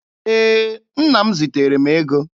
Ee, nna m ziteere m ego.